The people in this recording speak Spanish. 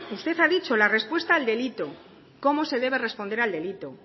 usted ha dicho la respuesta al delito cómo se debe responder al delito